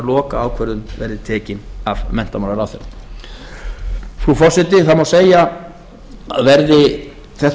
lokaákvörðun verði tekin af menntamálaráðherra frú forseti það má segja að verði þetta